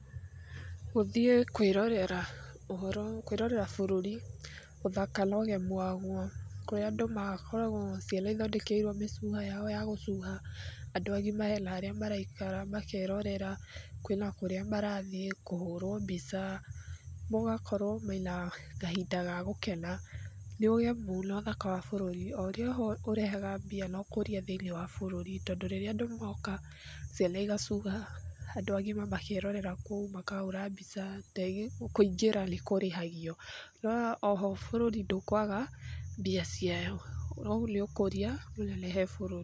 Gũthiĩ kwĩrorera ũhoro, kwĩrorera bũrũri, ũthaka na ũgemu waguo, kũrĩa andũ makoragwo, ciana ithondekeirwo mĩcuha yao ya gũcuha. Andũ agima he na arĩa maraikara makerorera, kwĩna kũrĩa marathiĩ, kũhũrwo mbica, mũgakorwo mwĩna kahinda ga gũkena, nĩ ũgemu na ũthaka wa bũrũri, o ũrĩa ũrehaga mbia na ũkũria thĩinĩ wa bũrũri, tondũ rĩrĩa andũ moka, ciana igacuha, andũ agima makerorera kou makahũra mbica, kũingĩra nĩ kũrĩhagio noho bũrũri ndũkwaga mbia ciao, noyũ nĩ ũkũria mũnene he bũrũri.